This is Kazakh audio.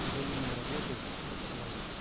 взаимной работы с властью